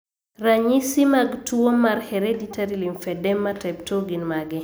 Ranyisi mag tuwo mar Hereditary lymphedema type II gin mage?